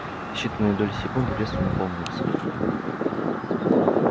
в считанные доли секунды вестон опомнился